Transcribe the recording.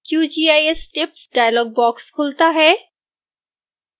qgis tips dialogue box खुलता है